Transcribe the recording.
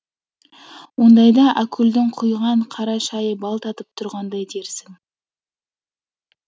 ондайда әкүлдің құйған қара шайы бал татып тұрғандай дерсің